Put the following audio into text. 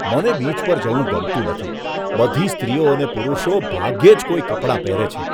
મને બીચ પર જવું ગમતું નથી. બધી સ્ત્રીઓ અને પુરુષો ભાગ્યે જ કોઈ કપડાં પહેરે છે.